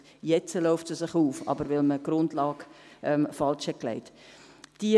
jetzt läuft sie sich auf, aber weil man die Grundlage falsch gelegt hat.